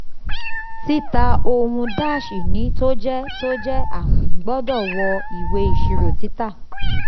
tita ohun-ini tó jẹ́ tó jẹ́ àwìn gbọdọ wọ ìwé iṣirò tita.